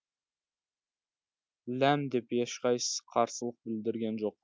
ләм деп ешқайсысы қарсылық білдірген жоқ